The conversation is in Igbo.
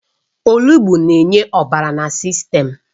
Olugbu na-enye ọbara na sistem